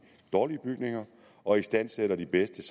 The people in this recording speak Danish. dårlige bygninger og istandsætter de bedste